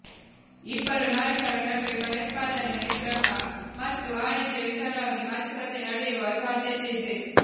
ಇಬ್ಬರು ನಾಯಕರ ನಡುವೆ ಭಯೋತ್ಪಾದನೆ ನಿಗ್ರಹ ಮತ್ತು ವಾಣಿಜ್ಯ ವಿಚಾರವಾಗಿ ಮಾತುಕತೆ ನಡೆಯುವ ಸಾಧ್ಯತೆ ಇದೆ